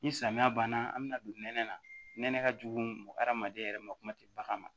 Ni samiya banna an bɛna don nɛnɛ na nɛnɛ ka jugu hadamaden yɛrɛ ma kuma tɛ bagan ma